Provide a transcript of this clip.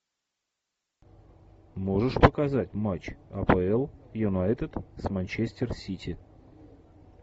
можешь показать матч апл юнайтед с манчестер сити